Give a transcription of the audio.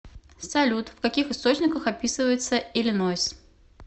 салют в каких источниках описывается иллинойс